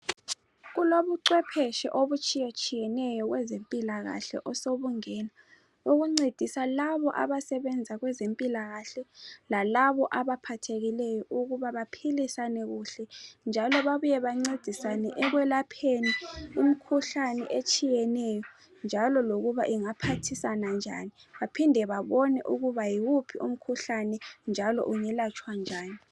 Kulobucwephetshe obutshiyetshiyeneyo kwezempilakahle osobungena obuncedisa labo abasebenza kwezempilakahle lalabo abaphathekileyo ukuba baphilisane kuhle njalo babuye bancedisane ekwelapheni imikhuhlane etshiyeneyo njalo lokuba ingaphathisana njani baphinde babone ukuba yiwuphi umkhuhlane njalo ungelatshwa njani.